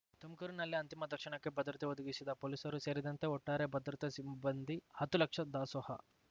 ತುಮಕೂರಿನಲ್ಲಿ ಅಂತಿಮ ದರ್ಶನಕ್ಕೆ ಭದ್ರತೆ ಒದಗಿಸಿದ ಪೊಲೀಸರು ಸೇರಿದಂತೆ ಒಟ್ಟಾರೆ ಭದ್ರತಾ ಸಿಬ್ಬಂದಿ ಹತ್ತು ಲಕ್ಷ ದಾಸೋಹ